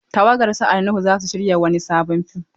Tawagar su Ali Nuhu za su shirya wani sabon fim.